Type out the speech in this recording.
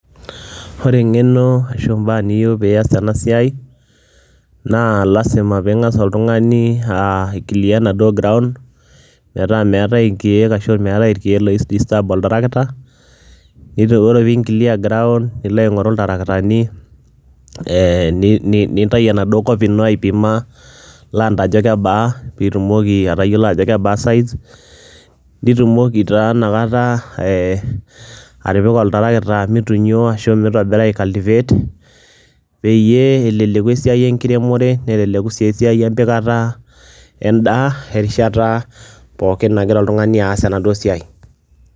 Ore eng'eno ashu mbaa niyeu piias ena siai naa lazima piing'as oltung'ani aa aiclear enaduo ground metaa meetai inkeek ashu meetai irkeek loidisturb oltarakita, nitu ore piinclear ground nilo aing'oru iltarakitani ee ni ni nintayu enaduo kop ino aipima land ajo kebaa piitumoki atayiolo ajo kebaa size, nitumoki taa inakata ee atipika oltarakita mitunyo ashu mitobira aicultivate peyie eleleku esiai enkiremore, neleleku sii esiai empikata endaa erishata pookin nagira oltung'ani aas enaduo siai,